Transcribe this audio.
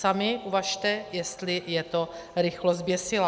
Sami uvažte, jestli je to rychlost zběsilá.